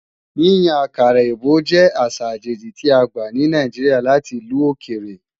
Yíyan àkàrà èbó jẹ́ àṣà àjèjì tí a gbà ní Nàìjíríà láti ìlú òkèrè